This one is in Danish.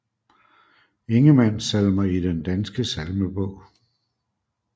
Ingemann Salmer i Den Danske Salmebog